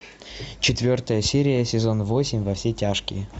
четвертая серия сезон восемь во все тяжкие